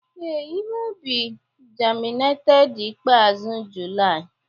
Ee, ihe ubi germinated ikpeazụ July